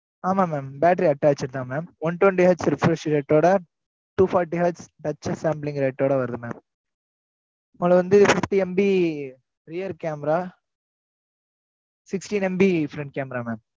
ஆமா, mam, battery attached தான், mam one twenty H reference ஓட, two forty Hutch, sampling rate ஓட வருது, mam உங்களை வந்து fifty MP rear camera Sixty MP front camera mam